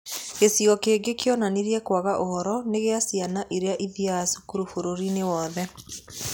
Gĩcigo kĩngĩ kĩonanirie kwaga ũhoro nĩ kĩa ciana iria itathiaga cukuru bũrũri-inĩ wothe.